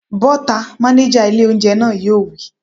Bọ́ta!, mánéjà ilé óúnjẹ náà yóò wí